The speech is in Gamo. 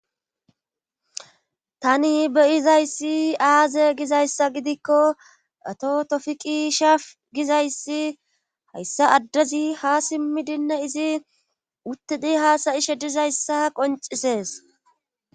Tani be7izayssi aaze gizayssa gidikko ato tofiqi shaf gizayssi hayssa addezi ha simmidinna izi uttidi haasayishe dizayssa qoncisees.